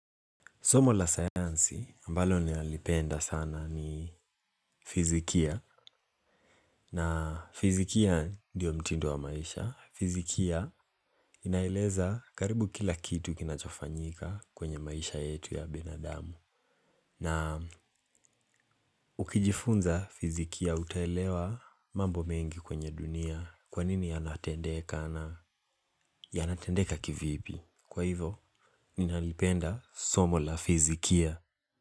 Somo la sayansi ambalo nalipenda sana ni fizikia na fizikia ndiyo mtindo wa maisha. Fizikia inaeleza karibu kila kitu kinachofanyika kwenye maisha yetu ya binadamu. Na ukijifunza fizikia utaelewa mambo mengi kwenye dunia kwa nini yanatendeka na yanatendeka kivipi. Kwa hivo, ninalipenda somo la fizikia.